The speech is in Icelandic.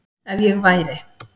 Ef ég væri